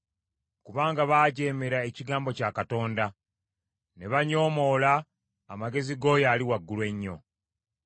kubanga baajeemera ekigambo kya Katonda, ne banyoomoola amagezi g’oyo Ali Waggulu Ennyo.